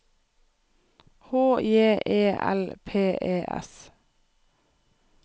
H J E L P E S